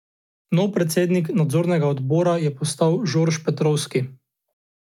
Novi predsednik nadzornega odbora je postal Žorž Petrovski.